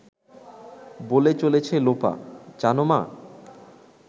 বলে চলেছে লোপা… জানো মা